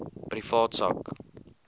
privaat sak